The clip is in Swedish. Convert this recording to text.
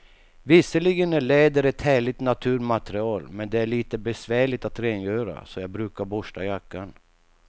Visserligen är läder ett härligt naturmaterial, men det är lite besvärligt att rengöra, så jag brukar borsta jackan.